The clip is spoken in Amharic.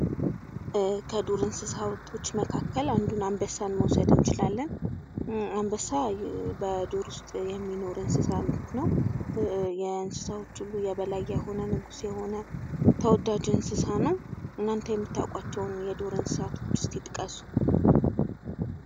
ከዱር እንሰሳቶች መካከል አንዱን አንበሳን መውሰድ እንችላለን። አንበሳ በዱር ውስጥ የሚኖር እንሰሳ ነው ። እና የእንሰሳዎች ሁሉ የበላይ የሆነ፣ ንጉስ የሆነ ተወዳጅ እንሰሳ ነው። እናንተ የምታቋቸውን የዱር እንሰሳቶች እስኪ ጥቀሱ።